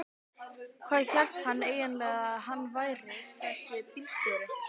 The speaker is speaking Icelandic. Hvað hélt hann eiginlega að hann væri þessi bílstjóri.